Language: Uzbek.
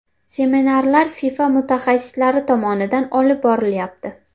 Seminarlar FIFA mutaxassislari tomonidan olib borilyapti.